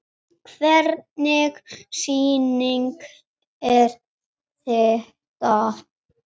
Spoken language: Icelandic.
Hvernig sýning er þetta?